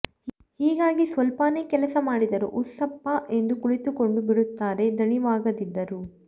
ಹೀಗಾಗಿ ಸ್ವಲ್ವಾನೇ ಕೆಲಸ ಮಾಡಿದರೂ ಉಶ್ಸಪ್ಪ್ ಎಂದು ಕುಳಿತುಕೊಂಡು ಬಿಡುತ್ತಾರೆ ದಣಿವಾಗದಿದ್ದರೂ